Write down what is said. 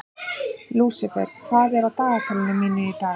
Lúsifer, hvað er á dagatalinu mínu í dag?